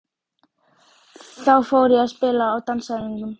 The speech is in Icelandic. Þá fór ég að spila á dansæfingum.